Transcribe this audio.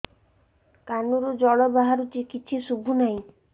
କାନରୁ ଜଳ ବାହାରୁଛି କିଛି ଶୁଭୁ ନାହିଁ